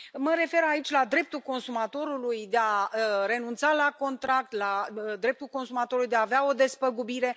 Mă refer aici la dreptul consumatorului de a renunța la contract, la dreptul consumatorului de a avea o despăgubire.